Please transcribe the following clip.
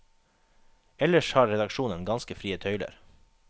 Ellers har redaksjonen ganske frie tøyler.